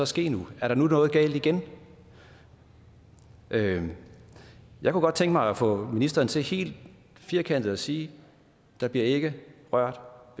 ske nu er der nu noget galt igen jeg kunne godt tænke mig at få ministeren til helt firkantet at sige der bliver ikke rørt